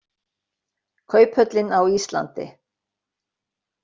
Kauphöllin á Íslandi.